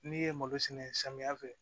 N'i ye malo sɛnɛ samiya fɛ